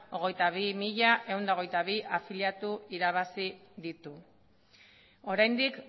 hogeita bi mila ehun eta hogeita bi afiliatu irabazi ditu oraindik